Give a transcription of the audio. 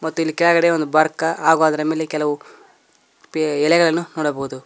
ಮತ್ತು ಇಲ್ಲಿ ಕೆಳಗಡೆ ಒಂದು ಬರ್ಕ ಹಾಗೂ ಅದರ ಮೇಲೆ ಕೆಲವು ಎಲೆಗಳನ್ನು ನೋಡಬಹುದು.